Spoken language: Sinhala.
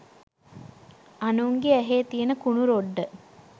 අනුන්ගෙ ඇහේ තියෙන කුණු රොඩ්ඩ